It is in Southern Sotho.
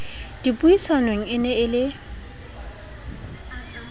dipuisanong e ne e le